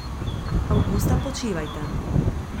Avgusta počivajte.